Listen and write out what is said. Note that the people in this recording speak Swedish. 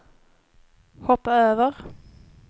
hoppa över